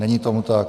Není tomu tak.